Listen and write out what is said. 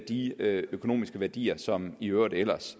de økonomiske værdier som i øvrigt ellers